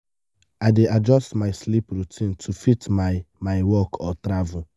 i dey adjust my sleep routine to fit my my work or travel.